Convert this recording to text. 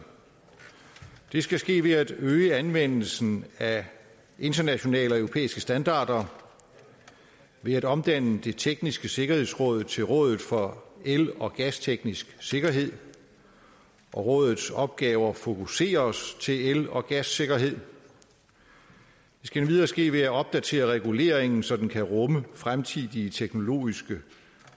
det skal ske ved at øge anvendelsen af internationale og europæiske standarder ved at omdanne det tekniske sikkerhedsråd til rådet for el og gasteknisk sikkerhed og rådets opgaver fokuseres til el og gassikkerhed det skal endvidere ske ved at opdatere reguleringen så den kan rumme fremtidige teknologiske